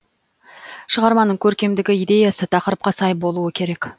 шығарманың көркемдігі идеясы тақырыпқа сай болуы керек